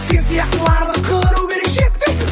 сен сияқтыларды қыру керек шеттен